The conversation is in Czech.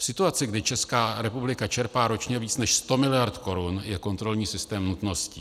V situaci, kdy Česká republika čerpá ročně více, než 100 miliard korun, je kontrolní systém nutností.